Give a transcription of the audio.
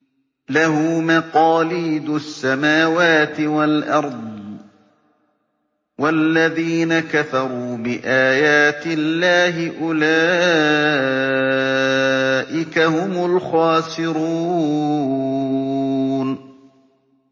لَّهُ مَقَالِيدُ السَّمَاوَاتِ وَالْأَرْضِ ۗ وَالَّذِينَ كَفَرُوا بِآيَاتِ اللَّهِ أُولَٰئِكَ هُمُ الْخَاسِرُونَ